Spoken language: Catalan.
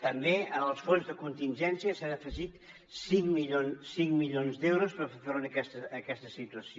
també en els fons de contingència s’han afegit cinc milions d’euros per fer front a aquesta situació